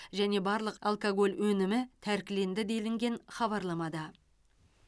және барлық алкоголь өнімі тәркіленді делінген хабарламада